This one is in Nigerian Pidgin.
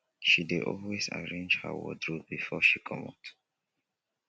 she dey always arrange her wardrope before she comot.